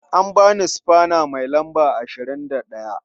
An ba ni sufana mai lamba 21.